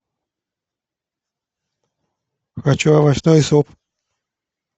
хочу овощной суп